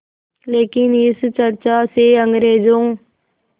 लेकिन इस चर्चा से अंग्रेज़ों